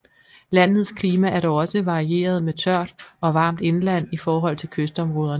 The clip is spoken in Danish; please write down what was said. Landets klima er dog også varieret med tørt og varmt indland i forhold til kystområderne